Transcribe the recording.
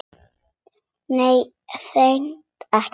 Nei, hreint ekki.